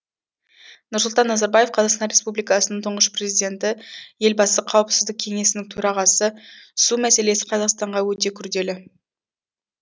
нұрсұлтан назарбаев қазақстан республикасының тұңғыш президенті елбасы қауіпсіздік кеңесінің төрағасы су мәселесі қазақстанға өте күрделі